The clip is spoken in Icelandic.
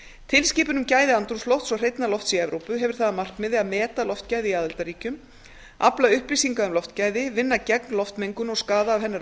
tilskipun um gæði andrúmslofts og hreinna lofts í evrópu hefur það að markmiði að meta loftgæði í aðildarríkjum afla upplýsinga um loftgæði vinna gegn loftmengun og skaða af hennar